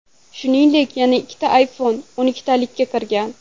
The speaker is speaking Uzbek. Shuningdek, yana ikkita iPhone o‘ntalikka kirgan.